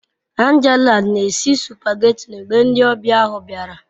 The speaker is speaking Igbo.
Angela n'esi supageti mgbe ndi obia ahu biara